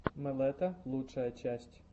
мэлэта лучшая часть